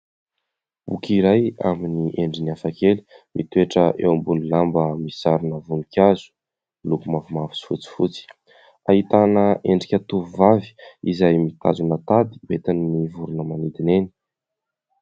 Boky iray amin'ny endriny hafakely mitoetra eo ambony lamba misarona voninkazo, miloko mavomavo sy fotsifotsy. Ahitana endrika tovovavy izay mitazona tady entin'ny vorona manidina eny.